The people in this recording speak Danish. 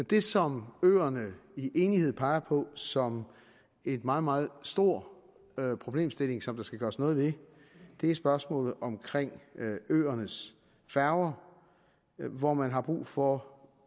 det som øerne i enighed peger på som en meget meget stor problemstilling som der skal gøres noget ved er spørgsmålet om øernes færger hvor man har brug for